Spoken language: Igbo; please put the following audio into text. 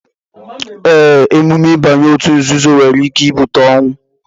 Ee, emume ịbanye òtù nzuzo nwere ike ibute ọnwụ